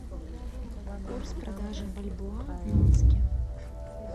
курс продажи бальбоа в минске